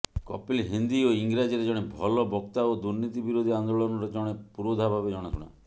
କପିଲ ହିନ୍ଦୀ ଓ ଇଂରାଜୀରେ ଜଣେ ଭଲ ବକ୍ତା ଓ ଦୁର୍ନୀତି ବିରୋଧି ଆନ୍ଦୋଳନର ଜଣେ ପୁରୋଧାଭାବେ ଜଣାଶୁଣା